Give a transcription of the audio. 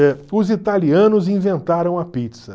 Eh os italianos inventaram a pizza.